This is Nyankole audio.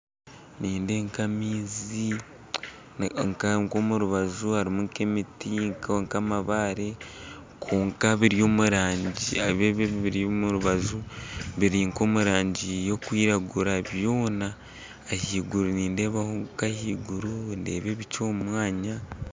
Nindeeba nka maizi nk'omu rubanju harimu nk'emiiti, n'amabare, kwonka ebi ebiri omu rubanju biri nka omu rangi y'okwiragura byoona ahaiguru nindeebayo ebicu omu mwanya